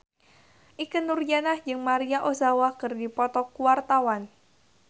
Ikke Nurjanah jeung Maria Ozawa keur dipoto ku wartawan